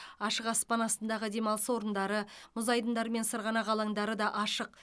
ашық аспан астындағы демалыс орындары мұз айдындары мен сырғанақ алаңдары да ашық